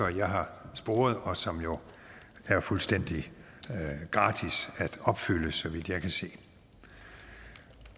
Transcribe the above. jeg har sporet og som jo er fuldstændig gratis at opfylde så vidt jeg kan se